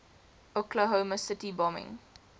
oklahoma city bombing